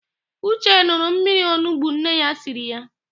Ụche n̄ụrụ mmiri onugbo nne ya siri ya.